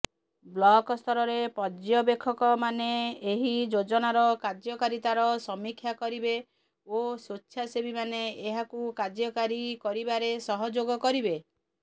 ବ୍ଲକସ୍ତରରେ ପର୍ଯ୍ୟବେକ୍ଷକମାନେ ଏହି ଯୋଜନାର କାର୍ଯ୍ୟକାରିତାର ସମୀକ୍ଷା କରିବେ ଓ ସ୍ୱେଚ୍ଛାସେବୀମାନେ ଏହାକୁ କାର୍ଯ୍ୟକାରୀ କରିବାରେ ସହଯୋଗ କରିବେ